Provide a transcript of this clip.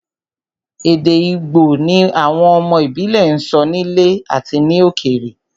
Èdè Igbo ni àwọn ọmọ ìbílẹ̀ ń sọ nílé àti ní ilẹ̀ òkèèrè